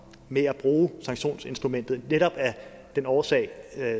med at bruge sanktionsinstrumentet netop af den årsag